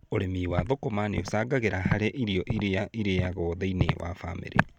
Ũrĩmi wa thũkũma nĩũcangagĩra harĩ irio irĩa irĩyago thĩiniĩ wa bamĩrĩ.